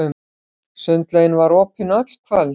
Sundlaugin var opin öll kvöld.